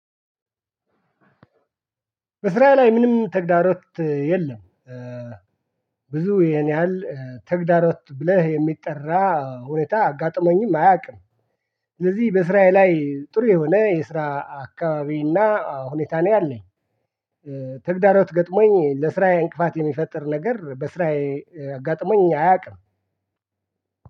በስራዬ ላይ ምንም ተግዳሮት የለም። ብዙ ያን ያህል ተግዳሮት ብለህ የሚጠራ ሁኔታ አጋጥሞኝም አያውቅም። ስለዚህ በስራዬ ላይ ጥሩ የሆነ የስራ አካባቢና ሁኔታ ነኝ አለኝ። ተግዳሮት ገጥሞኝ ለስራዬ እንቅፋት የሚፈጥር ነገር በስራዬ አጋጥሞኝ አያውቅም።